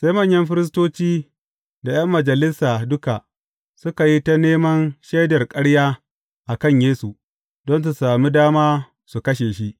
Sai manyan firistoci da ’yan majalisa duka suka yi ta neman shaidar ƙarya a kan Yesu, don su sami dama su kashe shi.